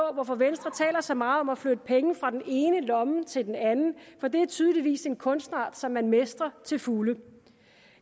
hvorfor venstre taler så meget om at flytte penge fra den ene lomme til den anden for det er tydeligvis en kunstart som man mestrer til fulde